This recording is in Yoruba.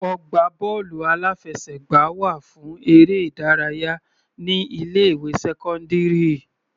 Ọgbà bọ́ọ̀lù aláfẹsẹ̀gbá wà fún eré ìdárayá ní ilé ìwé sẹ́cọ́ndírì.